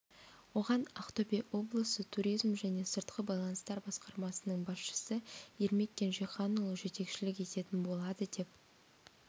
оған ақтөбе облысы туризм және сыртқы байланыстар басқармасының басшысы ермек кенжеханұлы жетекшілік ететін болады деп